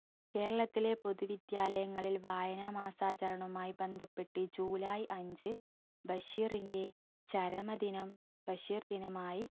കേരളത്തിലെ പൊതുവിദ്യാലയങ്ങളിൽ വായനാ മാസാചാരണയുമായി ബന്ധപ്പെട്ട് ജൂലൈ അഞ്ചു ബഷീറിന്റെ ചരമദിനം ബഷീർ ദിനമായി